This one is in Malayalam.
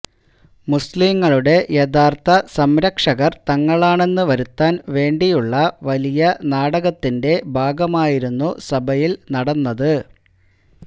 മുസ്ലീങ്ങളുടെ യഥാര്ഥ സംരക്ഷകര് തങ്ങളാണെന്നു വരുത്താന് വേണ്ടിയുള്ള വലിയ നാടകത്തിന്റെ ഭാഗമായിരുന്നു സഭയില് നടന്നത്